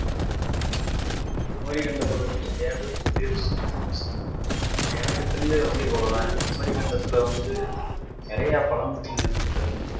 குமரிக்கண்டத்தை பத்தி நிறைய பேர் சொல்லி இருக்காங்க ஆனா எனக்கு தெரிஞ்சது வந்து இவ்வளவு தான் குமரிக்கண்டத்தில வந்து நிறைய பழங்குடி இன மக்கள்